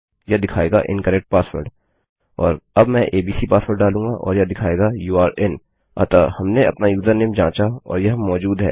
यह दिखायेगा incorrect password और अब मैं एबीसी पासवर्ड डालूँगा और यह दिखायेगा यूरे in अतः हमने अपना यूजरनेम जाँचा और यह मौजूद है